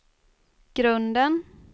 grunden